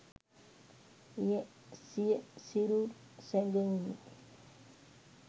එය සිය සිරුර් සැගවුණු